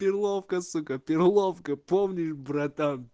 перловка сука перловка помнишь братан